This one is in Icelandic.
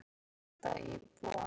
Mjög sé þrengt að íbúunum.